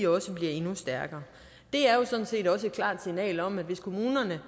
også bliver endnu stærkere det er jo sådan set også et klart signal om at hvis kommunerne